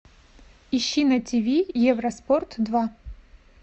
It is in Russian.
ищи на тиви евроспорт два